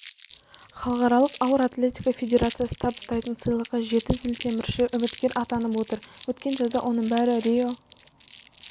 халықаралық ауыр атлетика федерациясы табыстайтын сыйлыққа жеті зілтемірші үміткер атанып отыр өткен жазда оның бәрі рио